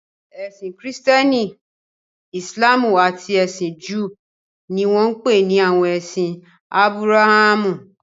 Ẹ̀sìn Kìrìtẹ́ẹ́nì, Ìsìlámù àti ẹ̀sìn Júù ni wọ́n ń pè ní àwọn ẹ̀sìn Ábúráhámù.